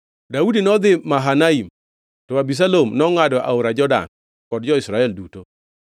Daudi nodhi Mahanaim, to Abisalom nongʼado aora Jordan kod jo-Israel duto.